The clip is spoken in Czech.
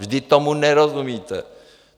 Vždyť tomu nerozumíte!